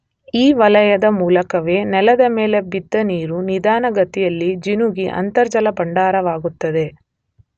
ಈ ವಲಯದ ಮೂಲಕವೇ ನೆಲದ ಮೇಲೆ ಬಿದ್ದ ನೀರು ನಿಧಾನ ಗತಿಯಲ್ಲಿ ಜಿನುಗಿ ಅಂತರ್ಜಲ ಭಂಡಾರವಾಗುತ್ತದೆ.